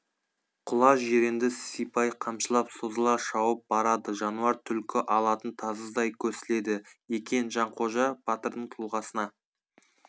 құла жиренді сипай қамшылап созыла шауып барады жануар түлкі алатын тазыдай көсіледі екен жанқожа батырдың тұлғасына